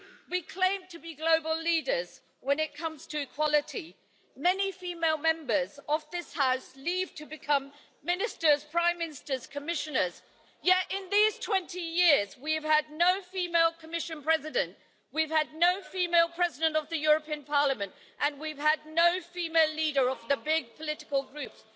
We claim to be global leaders when it comes to equality. Many female Members of this House leave to become Ministers, Prime Ministers, Commissioners, yet in these 20 years we've had no female Commission President, we've had no female President of the European Parliament, and we've had no female leader of the big political groups.